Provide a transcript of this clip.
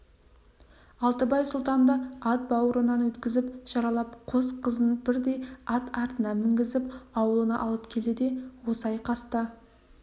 алтыбай сұлтанды ат бауырынан өткізіп жаралап қос қызын бірдей ат артына мінгізіп аулына алып келді де осы айқаста